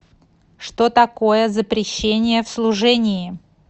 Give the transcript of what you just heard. что такое запрещение в служении